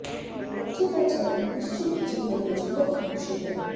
ਬੱਚੇ ਦਾ ਜਨਮ ਨਿਸ਼ਚਿੰਤ ਜੀਵਨ ਵਿੱਚ ਬਹੁਤ ਖੁਸ਼ੀ ਹੈ